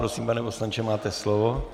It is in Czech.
Prosím, pane poslanče, máte slovo.